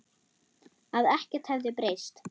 Að ekkert hefði breyst.